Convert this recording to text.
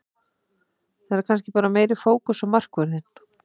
Það er kannski bara meiri fókus á markvörðinn.